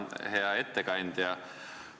Hea ettekandja!